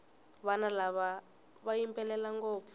vana lava va yimbelela ngopfu